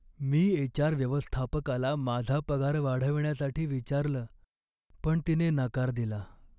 मी H. R. व्यवस्थापकाला माझा पगार वाढवण्यासाठी विचारलं पण तिने नकार दिला.